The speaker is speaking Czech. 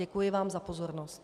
Děkuji vám za pozornost.